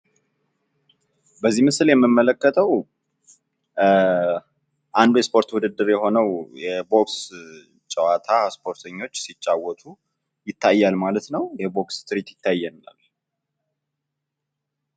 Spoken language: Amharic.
በዚህ ምስል የምመለከተዉ አንዱ የስፖርት ዉድድር የሆነዉ የቦክስ ጨዋታ ስፖርተኞች ሲጫወቱ ይታያል ማለት ነዉ። የቦክስ ትርኢት ይታያል።